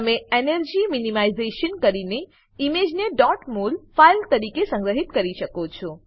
તમે energy minimisation કરીને ઈમેજને ડોટ મોલ ફાઈલ તરીકે સંગ્રહી શકો છો